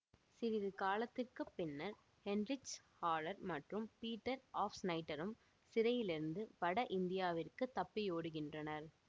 சிறிது காலத்திற்கு பின்னர் ஹெயின்ரிச் ஹாரெர் மற்றும் பீட்டர் ஆவ்ப்சினைட்டரும் சிறையிலிருந்து வட இந்தியாவிற்குத் தப்பியோடுகின்றனர்